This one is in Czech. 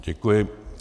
Děkuji.